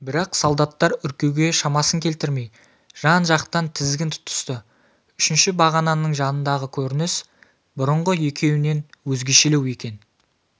бірақ солдаттар үркуге шамасын келтірмей жан-жақтан тізгін тұтысты үшінші бағананың жанындағы көрініс бұрынғы екеуінен өзгешелеу екен